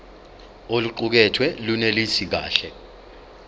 oluqukethwe lunelisi kahle